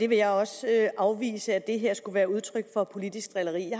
vil også afvise at det her skulle være udtryk for politisk drilleri